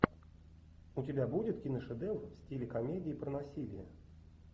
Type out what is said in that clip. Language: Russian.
у тебя будет киношедевр в стиле комедии про насилие